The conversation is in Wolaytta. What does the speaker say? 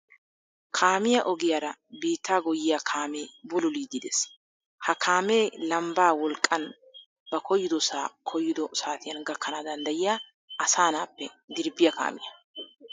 Kaamiya ogiyaara biittaa goyyiya kaamee bululiiddi des. Ha kaamee lambbaa wolqqan ba koyyidosaa koyyido saatiyan gakkana danddayiya asanaappe dirbbiya kaamiya.